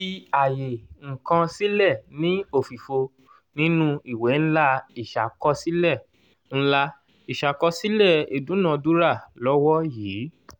fi àyè ǹkan sílẹ̀ ní òfìfo nínú ìwé ńlá ìṣàkọsílẹ̀ ńlá ìṣàkọsílẹ̀ ìdúnadúrà lọ́wọ́ yìí.